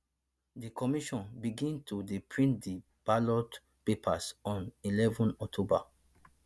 di commission begin to dey print di ballot papers on eleven october